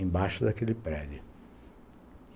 embaixo daquele prédio.